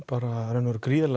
í rauninni gríðarlega